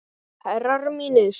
Herrar mínir.